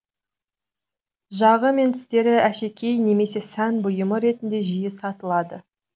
жағы мен тістері әшекей немесе сән бұйымы ретінде жиі сатылады